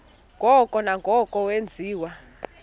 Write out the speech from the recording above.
ngoko nangoko wenziwa